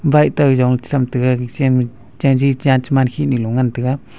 bike teyongley chechem taiga nichema chanji chan chiman khih lo ngan taiga.